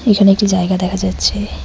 এখানে একটি জায়গা দেখা যাচ্ছে।